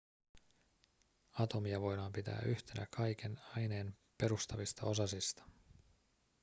atomia voidaan pitää yhtenä kaiken aineen perustavista osasista